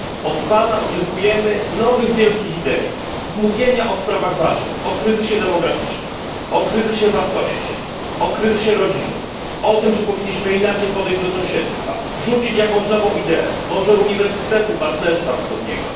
Od Pana oczekujemy nowych wielkich idei, mówienia o sprawach ważnych o kryzysie demograficznym, o kryzysie wartości, o kryzysie rodziny, o tym, że powinniśmy inaczej podejść do sąsiedztwa, zaproponować jakąś nową ideę, może uniwersytetu partnerstwa wschodniego.